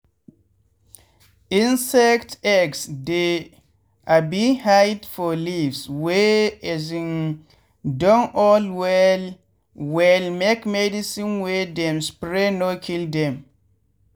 insect eggs dey um hide for leaves wey um don old well well make medicine wey dem spray no kill dem.